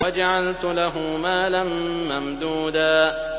وَجَعَلْتُ لَهُ مَالًا مَّمْدُودًا